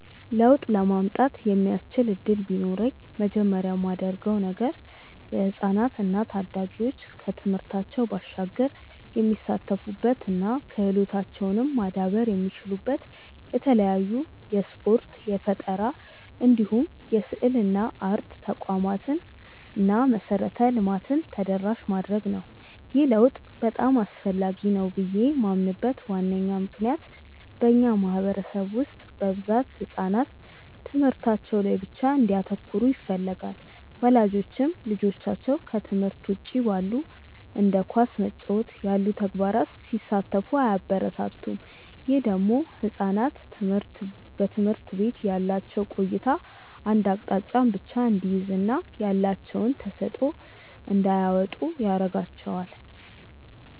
ለውጥ ለማምጣት የሚያስችል እድል ቢኖረኝ መጀመሪያ ማደርገው ነገር የህፃናት እና ታዳጊዎች ከትምህርታቸው ባሻገር የሚሳተፉበት እና ክህሎታቸውም ማዳበር የሚችሉበት የተለያዩ የስፖርት፣ የፈጠራ እንዲሁም የስዕልና አርት ተቋማትን እና መሰረተ ልማትን ተደራሽ ማድረግ ነው። ይህ ለውጥ በጣም አስፈላጊ ነው ብዬ ማምንበት ዋነኛ ምክንያት በእኛ ማህበረሰብ ውስጥ በብዛት ህጻናት ትምህርታቸው ላይ ብቻ እንዲያተኩሩ ይፈለጋል። ወላጆችም ልጆቻቸው ከትምህርት ውጪ ባሉ እንደ ኳስ መጫወት ያሉ ተግባራት ላይ ሲሳተፉ አያበረታቱም። ይህ ደግሞ ህጻናት በትምህርት ቤት ያላቸው ቆይታ አንድ አቅጣጫን ብቻ እንዲይዝ እና ያላቸውን ተሰጥዖ እንዳያወጡ ያረጋቸዋል።